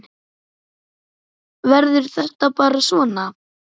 Verður þetta bara svona?